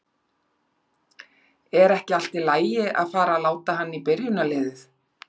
Er ekki allt í lagi að fara að láta hann í byrjunarliðið?